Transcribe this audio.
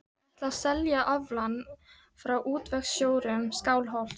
Ég ætla mér að selja aflann frá útvegsjörðum Skálholts.